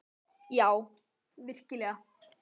Já, virkilega.